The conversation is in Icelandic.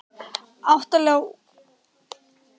Átta liða úrslitin hefjast á miðvikudag